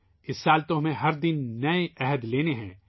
اس سال تو ہمیں ہر دن نیا عہد کرنا ہے